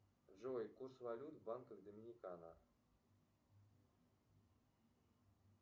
джой курс валют в банках доминикана